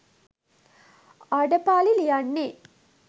ආඩපාලි ලියන්නේ?